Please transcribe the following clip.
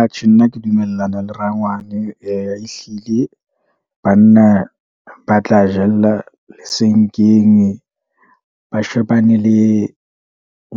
Atjhe nna ke dumellana le rangwane. Ehlile banna ba tla jella lesenkeng ba shebane le